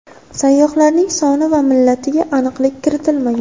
Sayyohlarning soni va millatiga aniqlik kiritilmagan.